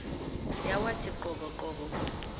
yawathi qobo qobo